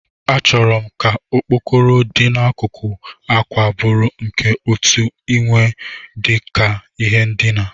Achọrọ m ka okpokoro dị n'akụkụ àkwà bụrụ nke otu imewe dị ka ihe ndina.